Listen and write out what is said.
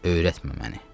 Öyrətmə məni.